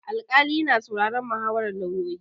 Alƙali yana sauraron muhawarar lauyoyi.